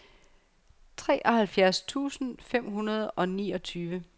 treoghalvfjerds tusind fem hundrede og niogtyve